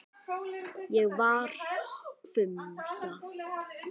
Ég varð hvumsa.